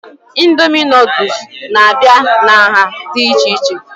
Indomie noodules n'abia n'nha dị ichè ichè